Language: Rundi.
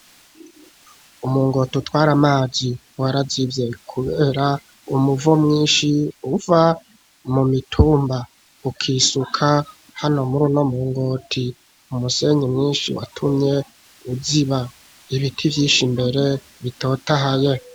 Umuringoti utware amazi warayivye kubera umuvo mwinshi uva mu mitumba ukisuka hano muri no muringoti umusenyi mwinshi watumye uziba ibiti vyishi mbere bitotahaye.